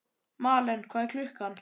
Malen, hvað er klukkan?